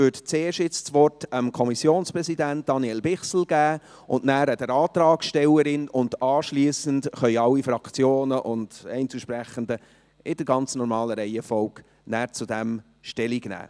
Nun würde ich also zuerst dem Kommissionspräsidenten, Daniel Bichsel, das Wort geben, dann der Antragstellerin, und anschliessend können alle Fraktionen und Einzelsprechenden in der ganz normalen Reihenfolge dazu Stellung nehmen.